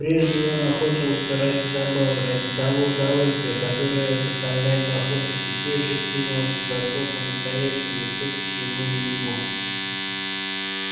прежде он охотился ради забавы ради того удовольствия которое доставляет охота теперь же принялся за то по настоящему и всё таки ему не везло